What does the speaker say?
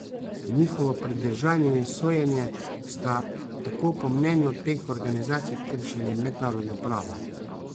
Njihovo pridržanje in sojenje sta tako po mnenju teh organizacij kršili mednarodno pravo.